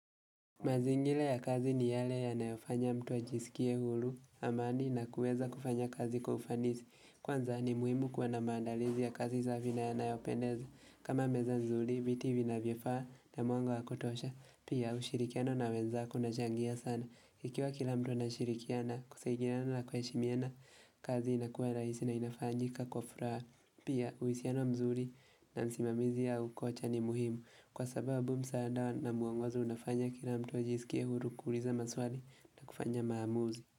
Mazingira ya kazi ni yale yanayo fanya mtu ajisikie huru amani na kuweza kufanya kazi kwa kufanizi. Kwanza ni muhimu kuwa na maandalizi ya kazi safi na yanayo pendeza. Kama meza nzuri, viti vinavyofaa na mwanga wakotosha. Pia ushirikiano na wenzako una changia sana. Ikiwa kila mtu ana shirikiana kusaidiana na kuheshimiana kazi inakuwa raisi na inafanjika kwa furaha. Pia uhusiano mzuri na msimamizi ya ukocha ni muhimu. Kwa sababu msaada na muongozo unafanya kila mtu ajisikie huru kuuliza maswali na kufanya maamuzi.